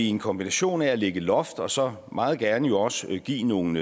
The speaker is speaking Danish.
en kombination af at lægge et loft og så meget gerne jo også give nogle